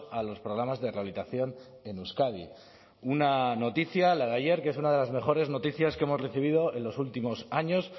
a los programas de rehabilitación en euskadi una noticia la de ayer que es una de las mejores noticias que hemos recibido en los últimos años